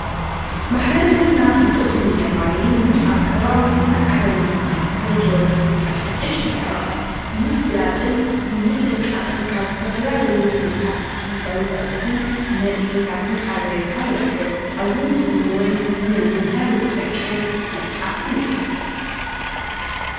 ማሕበረሰብና ፍልጠቱ ንምዕባይን ምስ ኣብ ከባቢኡን ዓለምን ዘሎ ዝፍጠር ሓደሽታ ዛዕባታት ንምፍላጥን ኣብ ንምጥንቃቅን ኣብ ዝተፈላለዩ መፅሓፍቲ ጋዜጣታትን ሓበሬታ ንረኽብ።